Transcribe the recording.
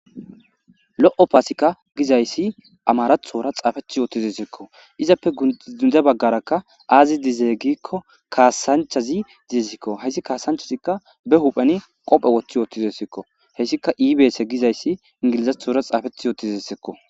Lo7o paasikka gizayssi amarathora xaafethi yootizessekko izappe gunde baggarakka aazi dizeegikko kaasanchazi dizesikko hayssi kaasanchazikka be hupheni qophe woththi yootizesekko heyssika ibeese gizayssi ingilizathora xaafethi yootizesekko.